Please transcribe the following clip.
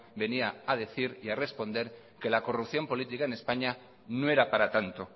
venía a decir y a responder que la corrupción política en españa no era para tanto